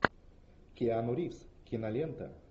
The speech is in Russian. киану ривз кинолента